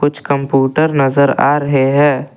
कुछ कंप्यूटर नजर आ रहे हैं।